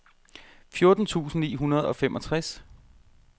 fjorten tusind ni hundrede og femogtres